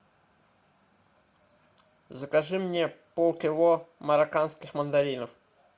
закажи мне полкило марокканских мандаринов